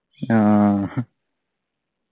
ആഹ് ഹ്